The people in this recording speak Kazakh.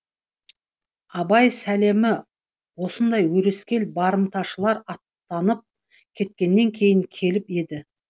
абай сәлемі осындай өрескел барымташылар аттанып кеткеннен кейін келіп еді